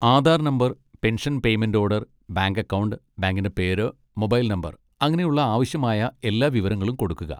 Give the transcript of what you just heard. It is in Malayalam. Aadhaar number, pension payment order, bank account, ബാങ്കിൻ്റെ പേര്, മൊബൈൽ നമ്പർ, അങ്ങനെയുള്ള ആവശ്യമായ എല്ലാ വിവരങ്ങളും കൊടുക്കുക.